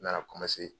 N nana